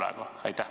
Aitäh!